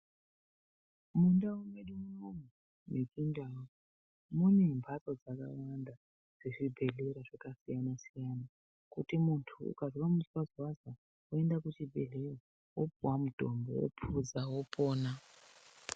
Mundau mwedu muno mechindau mune mhatso zakawanda dzezvibhedhlera zvakasiyana siyana, kuti muntu ukanzwa muzwazwazwa unoenda kuchibhedleya wopuwa mutombo wophuza wotorapiwa.